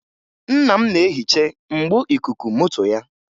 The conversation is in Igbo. Nna m na-ehiche mgbo ikuku moto ya